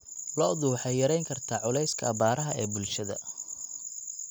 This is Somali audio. Lo'du waxay yarayn kartaa culayska abaaraha ee bulshada.